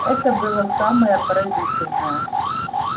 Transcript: это было самое поразительное